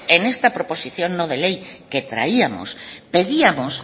en esta proposición no de ley que traíamos pedíamos